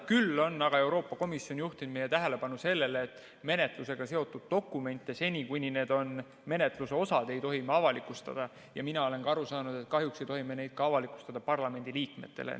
Küll on aga Euroopa Komisjon juhtinud meie tähelepanu sellele, et menetlusega seotud dokumente seni, kuni need on menetluse osad, ei tohi me avalikustada, ja mina olen aru saanud, et kahjuks ei tohi me neid ka parlamendiliikmetele avalikustada.